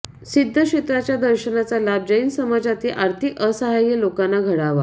सिध्दक्षेत्राच्या दर्शनाचा लाभ जैन समाजातील आर्थिक असहाय्य लोकांना घडावा